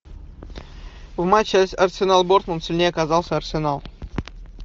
в матче арсенал борнмут сильнее оказался арсенал